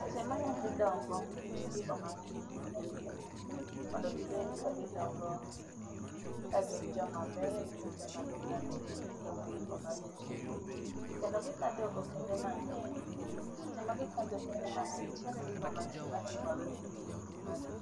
Seche ma nyath dongo ,nitiere gigo mang'eny mipuonjogi mondo gibed kagidongo ka gin joma beyo kendo joma nigi ratiro kendo gigo magitimo. Kendo gikadho okenge mang'eny. Seche magikadho okenge mang'eny, nitiere gigo mang'eny matimore negi e ngimagi